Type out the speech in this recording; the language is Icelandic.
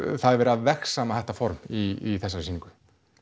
verið að vegsama þetta form í þessari sýningu